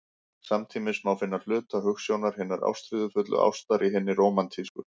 Samtímis má finna hluta hugsjónar hinnar ástríðufullu ástar í hinni rómantísku.